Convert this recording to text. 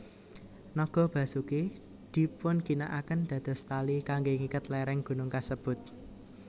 Naga Basuki dipunginakaken dados tali kangge ngiket léréng gunung kasebut